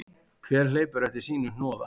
Hver hleypur eftir sínu hnoða.